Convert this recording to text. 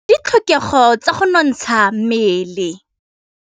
Go ja maungo ke ditlhokegô tsa go nontsha mmele.